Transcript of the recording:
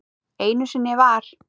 Einu sinni var.